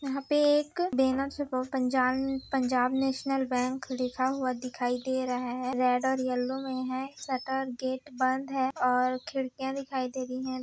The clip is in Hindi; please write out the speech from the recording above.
यहाँ पे एक banner Punjab Punjab national bank लिखा हुआ दिखाई दे रहा है रेड और येलो में हैं शटर गेट बंद है और खिड़कियाँ दिखाई दे रही है।